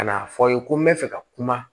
Ka n'a fɔ aw ye ko n bɛ fɛ ka kuma